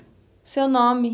O seu nome.